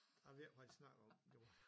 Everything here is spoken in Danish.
Jeg ved ikke havd de snakkede om det var